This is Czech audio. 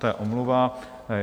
To je omluva.